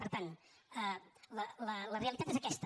per tant la realitat és aquesta